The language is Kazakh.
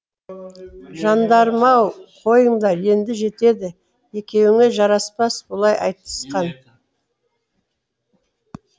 жандарым ау қойыңдар енді жетеді екеуіңе жараспас бұлай айтысқан